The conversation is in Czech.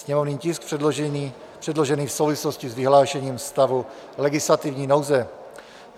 Sněmovní tisk předložený v souvislosti s vyhlášením stavu legislativní nouze.